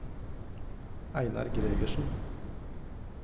Einar Gregersen